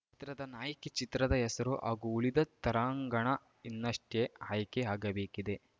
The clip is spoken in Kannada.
ಚಿತ್ರದ ನಾಯಕಿ ಚಿತ್ರದ ಹೆಸರು ಹಾಗೂ ಉಳಿದ ತರಾಂಗಣ ಇನ್ನಷ್ಟೆಆಯ್ಕೆ ಆಗಬೇಕಿದೆ